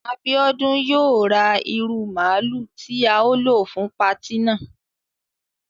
Abiodun yóò ra ìru máálu ti ao lo fun pàti náà